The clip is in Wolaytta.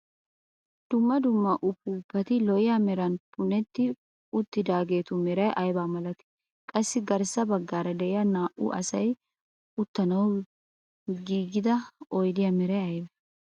Dumma dumma upuupati lo'iyaa meran punetti uttidaagetu meray aybaa milatii? Qassi garssa baggaara de'iyaa naa"u asay uttanawu giigida oydiyaa meray aybee?